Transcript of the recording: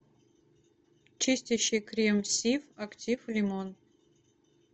чистящий крем сиф актив лимон